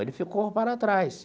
Ele ficou para trás.